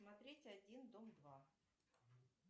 смотреть один дом два